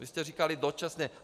Vy jste říkali dočasně.